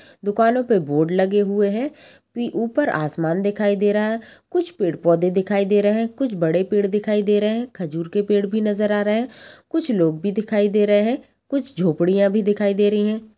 दुकानों पे बोर्ड लगे हुए हैं। पी ऊपर आसमान दिखाई दे रहा हैं। कुछ पेड़ पौधे दिखाई दे रहे हैं। कुछ बड़े पेड़ दिखाई दे रहे हैं। खजूर के पेड़ भी नजर आ रहा हैं। कुछ लोग भी दिखाई दे रहे हैं। कुछ झोपड़िया भी दिखाई दे रही हैं।